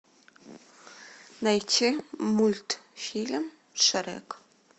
найти мультфильм шрек